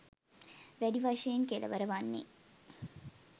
වැඩි වශයෙන් කෙළවර වන්නේ